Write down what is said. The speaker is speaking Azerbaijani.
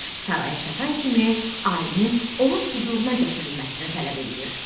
Saraya çatan kimi alimin onun hüzuruna gətirilməsini tələb eləyir.